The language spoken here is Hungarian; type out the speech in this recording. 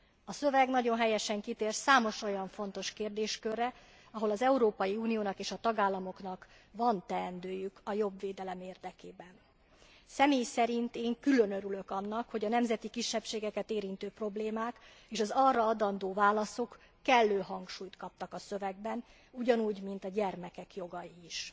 A szöveg nagyon helyesen kitér számos olyan fontos kérdéskörre, ahol az Európai Uniónak és a tagállamoknak van teendőjük a jobb védelem érdekében. Személy szerint én külön örülök annak, hogy a nemzeti kisebbségeket érintő problémák és az arra adandó válaszok kellő hangsúlyt kaptak a szövegben ugyanúgy, mint a gyermekek jogai is.